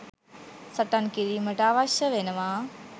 සටන් කිරීමට අවශ්‍ය වෙනවා